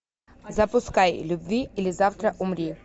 запускай люби или завтра умри